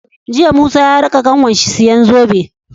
Jiya sani ya raka kanwar shi siyan zobe